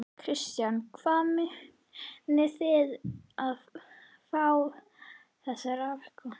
Kristján: Hvaðan munið þið fá þessa raforku?